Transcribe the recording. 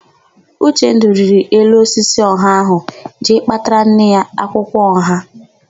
Uchendụ rịrị elu osisi ọha ahụ jee kpatara nne ya akwụkwọ ọha.